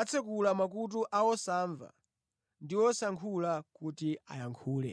atsekula makutu a osamva ndi osayankhula kuti ayankhule.”